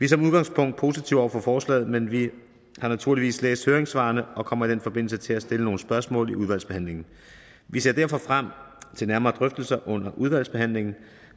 som udgangspunkt positive over for forslaget men vi har naturligvis læst høringssvarene og kommer i den forbindelse til at stille nogle spørgsmål under udvalgsbehandlingen vi ser derfor frem til nærmere drøftelser under udvalgsbehandlingen